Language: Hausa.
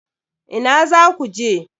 Ina zaku je?